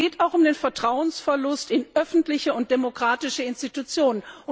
Aber es geht auch um den Verlust des Vertrauens in öffentliche und demokratische Institutionen.